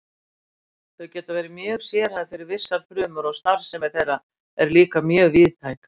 Þau geta verið mjög sérhæfð fyrir vissar frumur og starfsemi þeirra er líka mjög víðtæk.